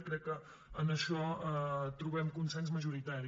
i crec que en això trobem consens majoritari